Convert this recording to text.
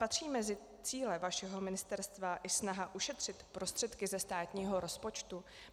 Patří mezi cíle vašeho ministerstva i snaha ušetřit prostředky ze státního rozpočtu?